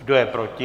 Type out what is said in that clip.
Kdo je proti?